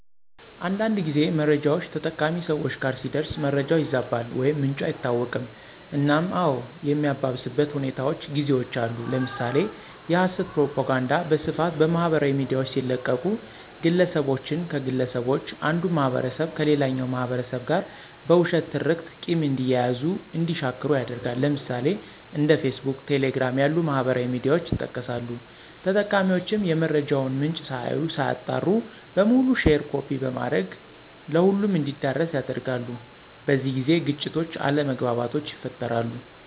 አንዳንድ ጊዜ መረጃውች ተጠቃሚ ሰወች ጋር ሲደርስ መረጃው ይዛባል ወይም ምንጩ አይታወቅም እናም አዎ የሚያባብስበት ሁኔታውች ጊዜውች አሉ። ለምሳሌ የሀሰት ፕሮፖጋንዳ በስፋት በማህበራዊ ሚዲያውች ሲለቀቁ ግለሰቦችን ከግለሰቦች አንዱን ማህበረሰብ ከሌላኛው ማህበረሰብ ጋር በውሸት ትርክት ቂም እንዲያያዙ እንዲሻክሩ ያደርጋል። ለምሳሌ፦ እንደ ፌስቡክ፣ ቴሌግራም ያሉ ማህበራዊ ሚዲያውች ይጠቀሳሉ። ተጠቃሚውችም የመረጃውን ምንጭ ሳያዩ ሳያጣሩ በሙሉ ሼር ኮፒ በማድረግ ለሁሉም እንዲዳረስ ያደርጋሉ። በዚህ ጊዜ ግጭቶች አለመግባባቶች ይፈጠራሉ።